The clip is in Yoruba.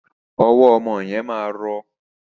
Ọwọ ọmọ yẹn ma rọ.